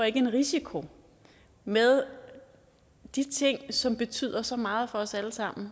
ikke en risiko med de ting som betyder så meget for os alle sammen